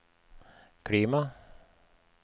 klima